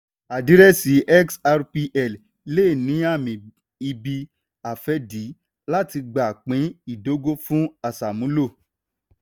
àdírẹ́sì xrpl le ní ààmì ibi-afẹ́dé láti gba pín ìdógò fún aṣàmúlò.